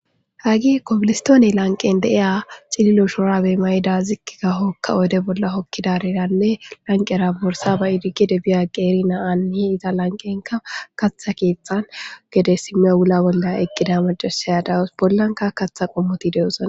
Hagge kobilistone lanqqen diya cililo shurabe mayiya mayida ziqqi gada oyide bolla hokidara lanqqiyara borssa ba'idi gedde biya qeeri na'aneeta lanqqenika kaththa kethtan gede issiniya bolla eqqida macasiya issina de'awusu eta bollanika kaththa qommoti de'osona